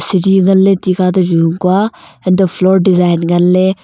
sidi ngan le tikha toh junga koa antoh floor design ngan ley.